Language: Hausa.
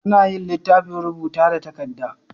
Anayin litafin rubuta da takadda